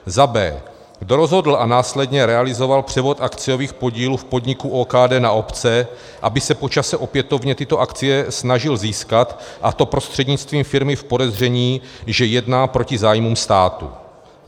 b) kdo rozhodl a následně realizoval převod akciových podílů v podniku OKD na obce, aby se po čase opětovně tyto akcie snažil získat, a to prostřednictvím firmy v podezření, že jedná proti zájmům státu,